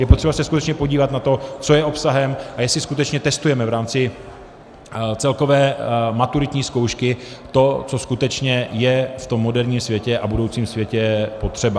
Je potřeba se skutečně podívat na to, co je obsahem a jestli skutečně testujeme v rámci celkové maturitní zkoušky to, co skutečně je v tom moderním světě a budoucím světě potřeba.